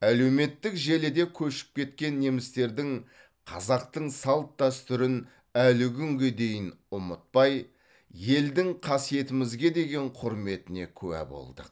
әлеуметтік желіде көшіп кеткен немістердің қазақтың салт дәстүрін әлі күнге дейін ұмытпай елдің қасиетімізге деген құрметіне куә болдық